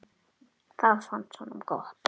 Það fannst honum gott.